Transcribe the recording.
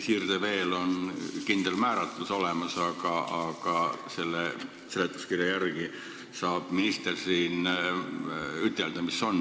Siirdevee kindel määratlus on küll olemas, aga seletuskirja järgi saab minister ütelda, mis kus on.